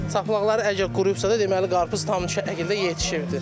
Saplaqları əgər quruyubsa da, deməli qarpız tam şəkildə yetişibdir.